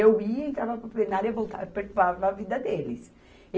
Eu ia entrava para o plenário e voltava, perturbava a vida deles.